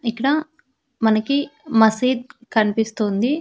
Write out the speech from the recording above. ఇక్కడ మనకి మసీద్ కన్పిస్తోంది.